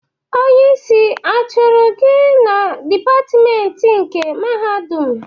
Onye isi achụrụ gị na dịpatment nke Mahadum?